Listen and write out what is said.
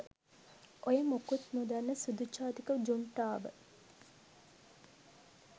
ඔය මොකුත් නොදන්න සුදු ජාතික ජුන්ටාව